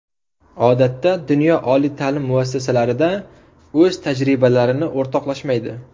Odatda dunyo oliy ta’lim muassasalarida o‘z tajribalarini o‘rtoqlashmaydi.